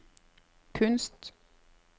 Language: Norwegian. kunst